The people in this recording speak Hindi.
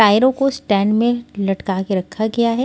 टायरों को स्टैंड में लटका के रखा गया है।